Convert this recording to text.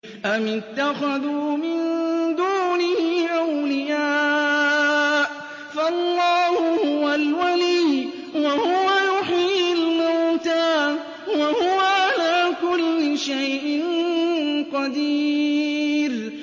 أَمِ اتَّخَذُوا مِن دُونِهِ أَوْلِيَاءَ ۖ فَاللَّهُ هُوَ الْوَلِيُّ وَهُوَ يُحْيِي الْمَوْتَىٰ وَهُوَ عَلَىٰ كُلِّ شَيْءٍ قَدِيرٌ